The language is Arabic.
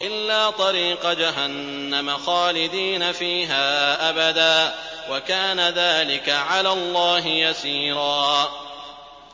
إِلَّا طَرِيقَ جَهَنَّمَ خَالِدِينَ فِيهَا أَبَدًا ۚ وَكَانَ ذَٰلِكَ عَلَى اللَّهِ يَسِيرًا